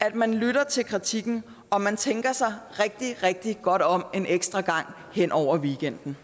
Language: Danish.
at man vil lytte til kritikken og at man tænker sig rigtig rigtig godt om en ekstra gang hen over weekenden